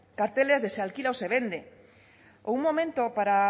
carteles de se alquila o se vende o un momento para